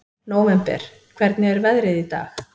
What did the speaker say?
Nóvember, hvernig er veðrið í dag?